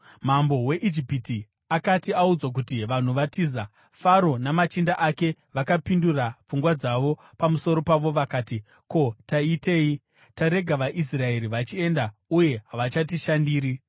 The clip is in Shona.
Mambo weIjipiti akati audzwa kuti vanhu vatiza, Faro namachinda ake vakapindura pfungwa dzavo pamusoro pavo vakati, “Ko, taitei? Tarega vaIsraeri vachienda uye havachatishandiri!”